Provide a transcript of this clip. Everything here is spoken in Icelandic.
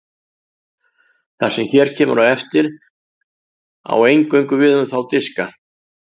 það sem hér kemur á eftir á eingöngu við um þá diska